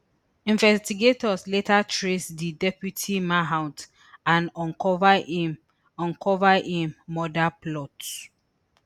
investigators later trace di deputy mahout and uncover im uncover im murder plot